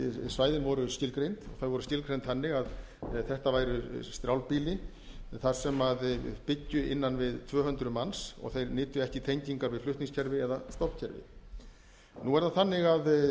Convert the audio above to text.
dreifbýlissvæðin voru skilgreind þau voru skilgreind þannig að þetta væri strjálbýli þar sem byggju innan við tvö hundruð manns og þeir nytu ekki tengingar við flutningskerfi eða stofnkerfi nú er það þannig að verðlag